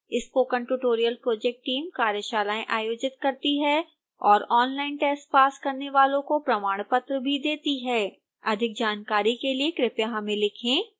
spoken tutorial project team कार्यशालाएं आयोजित करती है और ऑनलाइन टेस्ट पास करने वालों को प्रमाणपत्र भी देती है अधिक जानकारी के लिए कृपया हमें लिखें